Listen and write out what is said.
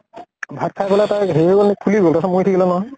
ভাত খাই গʼলে তাৰ হেৰি হৈ গʼল নেকি, ফুলি গʼল, তাৰ পিছত মৰি থাকিলে নহয় ।